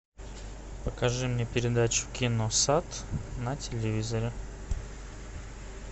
покажи мне передачу киносад на телевизоре